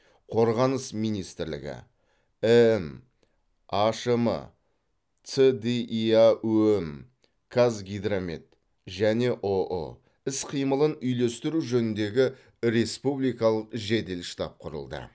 қорғаныс министрлігі эм ашм цдиаөм қазгидромет және ұұ іс қимылын үйлестіру жөніндегі республикалық жедел штаб құрылды